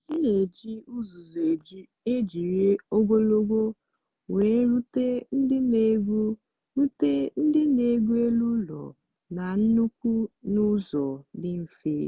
m na-eji uzuzu ejiri ogologo wee rute ndị na-egwu rute ndị na-egwu elu ụlọ na nkuku n'ụzọ dị mfe.